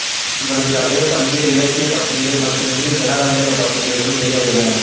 இவரது கதைகள் பல்வேறு இலக்கிய பத்திரிகைகள் மட்டுமின்றி ஜனரஞ்சக பத்திரிகைகளிலும் வெளியாகின